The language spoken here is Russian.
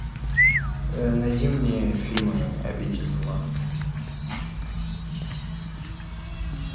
найди мне фильмы обитель зла